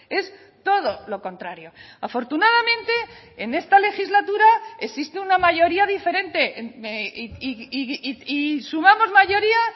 es todo lo contrario afortunadamente en esta legislatura existe una mayoría diferente y sumamos mayoría